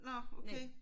Nåh okay